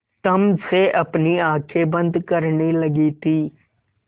तम से अपनी आँखें बंद करने लगी थी